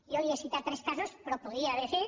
jo li he citat tres casos però podria haver fet